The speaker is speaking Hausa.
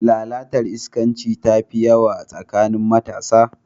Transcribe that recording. Lalatar iskanci tafi yawa a tsakanin matasa.